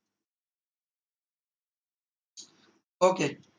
ok